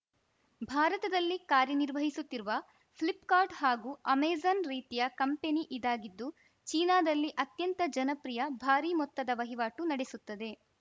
ಭಾರತದಲ್ಲಿ ಕಾರ್ಯನಿರ್ವಹಿಸುತ್ತಿರುವ ಫ್ಲಿಪ್‌ಕಾರ್ಟ್‌ ಹಾಗೂ ಅಮೆಜಾನ್‌ ರೀತಿಯ ಕಂಪೆನಿ ಇದಾಗಿದ್ದು ಚೀನಾದಲ್ಲಿ ಅತ್ಯಂತ ಜನಪ್ರಿಯ ಭಾರಿ ಮೊತ್ತದ ವಹಿವಾಟು ನಡೆಸುತ್ತದೆ